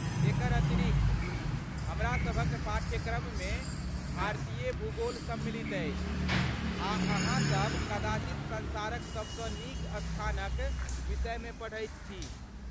एकर अतिरिक्त, हमरा सभक पाठ्यक्रम मे भारतीय भूगोल सम्मिलित अछि आ अहाँसभ कदाचित संसारक सबसँ नीक स्थानक विषयमे पढ़ैत छी।